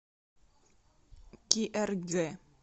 киэргэ